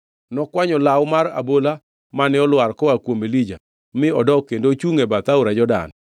Nokwanyo law mar abola mane olwar koa kuom Elija mi odok kendo ochungʼ e bath aora Jordan.